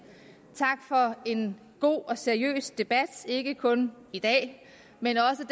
tak for en god og seriøs debat ikke kun i dag men også